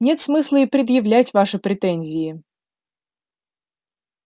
нет смысла и предъявлять ваши претензии